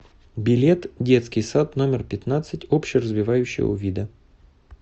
билет детский сад номер пятнадцать общеразвивающего вида